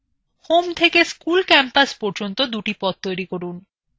school campus থেকে home থেকে দুটি পথ তৈরি করুন